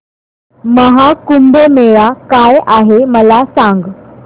महा कुंभ मेळा काय आहे मला सांग